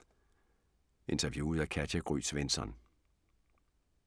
Interviewet af Katja Gry Svensson